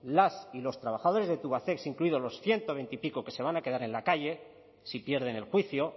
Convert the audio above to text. las y los trabajadores de tubacex incluidos los ciento veintipico que se van a quedar en la calle si pierden el juicio